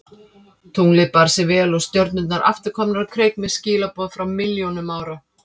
Tunglið bar sig vel og stjörnurnar aftur komnar á kreik með skilaboð frá milljónum ára.